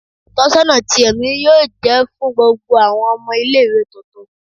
Itọnisọna ti ẹmi yoo jẹ fun gbogbo awọn ọmọ ile-iwe tuntun